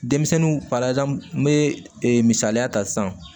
Denmisɛnninw pala n bɛ misaliya ta sisan